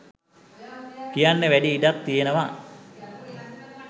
කියන්න වැඩි ඉඩක් තියෙනව.